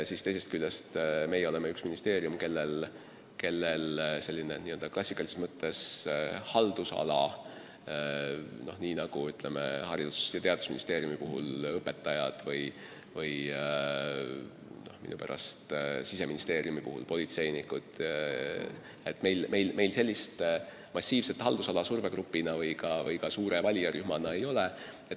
Aga teisest küljest me oleme ministeerium, kellel klassikalises mõttes sihtrühma, nii nagu Haridus- ja Teadusministeeriumi puhul on õpetajad või Siseministeeriumi puhul politseinikud, survegrupina või ka suure valijarühmana ei ole.